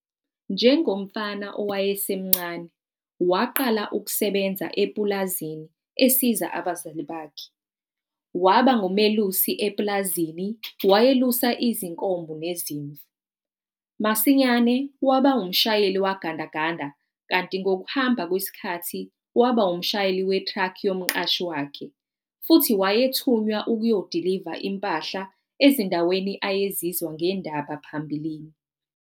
Njengomfana owayesemncane waqala ukusebenza epulazini esiza abazali bakhe. Waba ngumelusi epulazini wayelusa izinkomo nezimvu. Masinyane waba umshayeli wegandaganda kanti ngokuhamba kwesikhathi waba umshayeli wethraki yomqashi wakhe futhi wayethunywa ukuyodiliva impahla ezindaweni ayezizwa ngendaba phambilini.